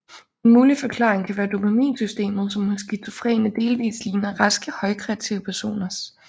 En mulig forklaring kan være dopaminsystemet som hos skizofrene delvist ligner raske højkreative personers